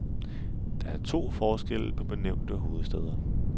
Der er to forskelle på benævnte hovedstæder.